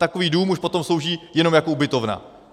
Takový dům už potom slouží jenom jako ubytovna.